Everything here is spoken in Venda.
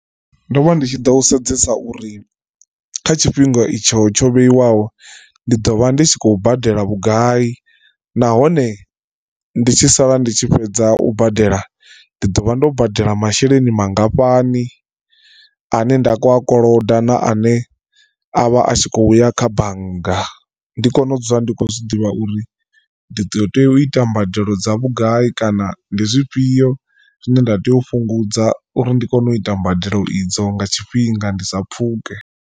Ndo vha ndi tshi ḓo sedzesa uri kha tshifhinga itsho tsho vheiwaho ndi ḓo vha ndi tshi khou badela vhugai nahone ndi tshi sala ndi tshi fhedza u badela ndi ḓo vha ndo badela masheleni mangafhani. Ane nda kho a koloda na ane avha atshi khouya kha bannga ndi kone u dzula ndi khou zwiḓivha uri ndi ḓo tea u ita mbadelo dza vhugai kana ndi zwifhio zwine nda tea u fhungudza uri ndi kone u ita mbadelo idzo nga tshifhinga ndi sa pfhuke.